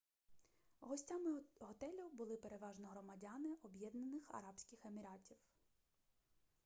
гостями готелю були переважно громадяни об'єднаних арабських еміратів